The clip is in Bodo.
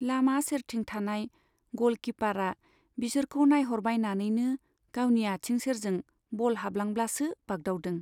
लामा सेरथिं थानाय ग'ल कीपारा बिसोरखौ नाइह'रबायनानैनो गावनि आथिं सेरजों बल हाबलांब्लासो बाग्दावदों।